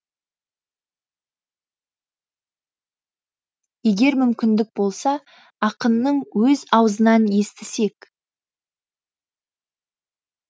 егер мүмкін болса ақынның өз аузынан естісек